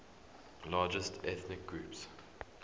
largest ethnic groups